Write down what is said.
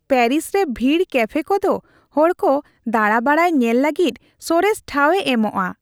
Paris ᱨᱮ ᱵᱷᱤᱲ ᱠᱮᱯᱷᱮ ᱠᱚᱫᱚ ᱦᱚᱲ ᱠᱚ ᱫᱟᱬᱟ ᱵᱟᱲᱟᱭ ᱧᱮᱞ ᱞᱟᱹᱜᱤᱫ ᱥᱚᱨᱮᱥ ᱴᱷᱟᱶᱮ ᱮᱢᱚᱜᱼᱟ ᱾